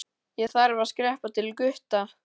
Ég þarf að skreppa til Gutta.